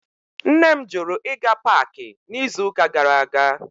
Nne m jụrụ ịga paakị n'izuụka gara aga